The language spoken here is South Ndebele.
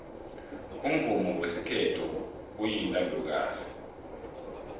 umvumo wesikhethu uyintandokazi